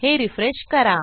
हे रिफ्रेश करा